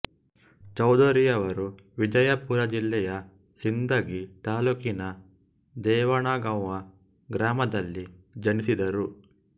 ಚೌಧರಿಯವರು ವಿಜಯಪುರ ಜಿಲ್ಲೆಯ ಸಿಂದಗಿ ತಾಲ್ಲೂಕಿನ ದೇವಣಗಾಂವ ಗ್ರಾಮದಲ್ಲಿ ಜನಿಸಿದರು